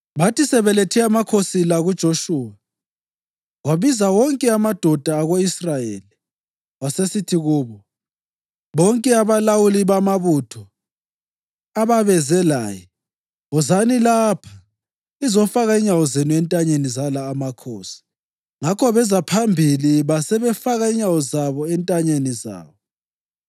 Bathi sebelethe amakhosi la kuJoshuwa, wabiza wonke amadoda ako-Israyeli wasesithi kubo bonke abalawuli bamabutho ababeze laye, “Wozani lapha lizofaka inyawo zenu entanyeni zala amakhosi.” Ngakho beza phambili basebefaka inyawo zabo entanyeni zawo.